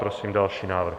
Prosím další návrh.